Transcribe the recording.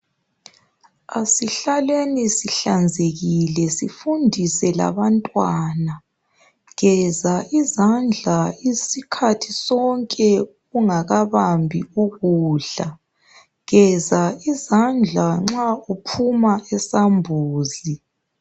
Asihlaleni sihlanzekile sifundise labantwana geza izandla isikhathi sonke ungakabambi ukudla geza izandla nxa uphuma esambuzi